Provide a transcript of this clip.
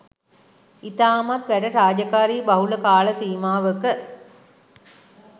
ඉතාමත් වැඩ රාජකාරි බහුල කාල සීමාවක